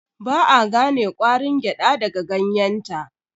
Ba a gane ƙwarin gyada daga ganyenta.